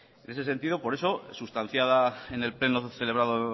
en ese sentido por eso sustanciada en el pleno celebrado